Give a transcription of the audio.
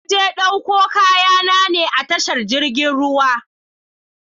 Na je ɗauko kaya na ne a tashar jiragen ruwa